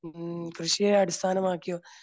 കൃഷിയെ അടിസ്ഥാനമാക്കിയും